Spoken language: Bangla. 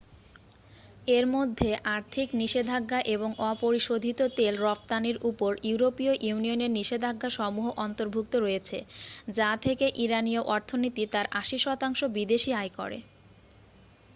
এর মধ্যে আর্থিক নিষেধাজ্ঞা এবং অপরিশোধিত তেল রফতানির উপর ইউরোপীয় ইউনিয়নের নিষেধাজ্ঞাসমূহ অন্তর্ভুক্ত রয়েছে যা থেকে ইরানিয় অর্থনীতি তার 80% বিদেশী আয় করে